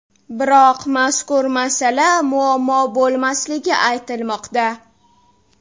Biroq mazkur masala muammo bo‘lmasligi aytilmoqda.